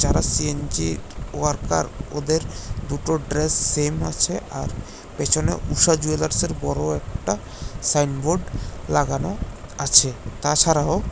এরা সিএনজির ওয়ার্কার ওদের দুটো ড্রেস সেম আছে আর পেছনে ঊষা জুয়েলার্সের বড় একটা সাইনবোর্ড লাগানো আছে তাছাড়াও--